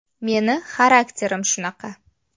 Meni xarakterim shunaqa.